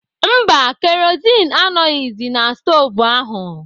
Mba, kerozin anọghizi na stovu ahụ.